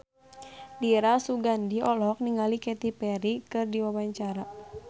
Dira Sugandi olohok ningali Katy Perry keur diwawancara